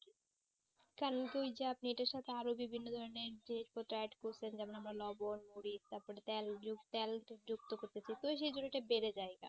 কারণ ওই সাথে আরো বিভিন্ন ধরণের জিনিস পত্র add করছেন যেমন লবন মরিচ তারপরে তেল তেল যুক্ত করতেছে তো সেই জন্য সেটাই বেড়ে যাই